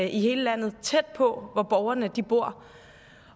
i hele landet tæt på hvor borgerne bor